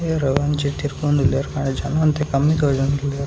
ಏರವು ಒಂಜಿ ತಿರ್‌ಪೋಂಡು ಉಲ್ಲೇರ್‌ ಆನ ಒನ ಒಂತೆ ಕಮ್ಮಿ ತೋಜೋಂಡುಲ್ಲೇರ್.